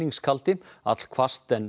allhvasst en